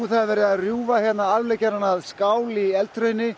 það er verið að rjúfa hérna afleggjarann að skál í